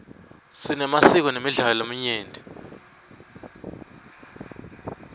sinemasiko nemidlalo lamanyenti